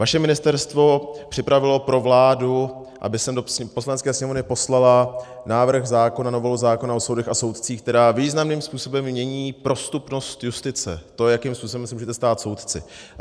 Vaše ministerstvo připravilo pro vládu, aby sem do Poslanecké sněmovny poslala návrh zákona, novelu zákona o soudech a soudcích, která významným způsobem mění prostupnost justice, to, jakým způsobem se můžete stát soudci.